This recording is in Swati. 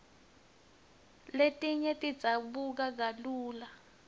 letinye tidzabuka kalula